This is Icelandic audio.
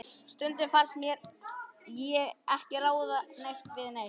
Og stundum fannst mér ég ekki ráða neitt við neitt.